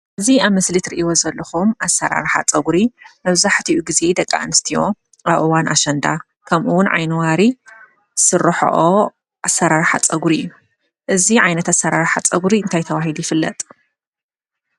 እዙይ ኣብ ምስሊ ትርእይዎ ዘለኩም ኣሰራርሓ ፀጉሪ መብዛሕቲኡ ግዜ ደቂ ኣስትዮ ኣብ እዋን ኣሸንዳ ከምኡ እውን ዓይነዋሪ ዝስርሕኦ ዓይነት ኣሰራርሓ ፀጉሪ እዩ። እዙይ ዓይነት ኣሰራርሓ ፀጉሪ እንታይ ተባሂሉ ይፍለጥ?